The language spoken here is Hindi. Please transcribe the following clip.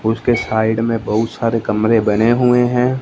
उसके साइड में बहुत सारे कमरे बने हुए हैं।